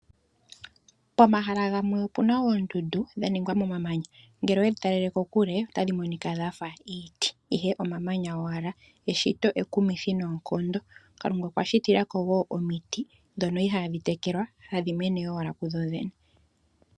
Pomahala gamwe opu na oondundu dha ningwa momamanya. Ngele owedhi talele kokule otadhi monika dha fa iiti, ihe omamanya owala. Eshito ekumithi noonkondo, Kalunga okwa shitila ko wo omiti dhono ihaadhi tekelwa hadhi mene owala kudho dhene.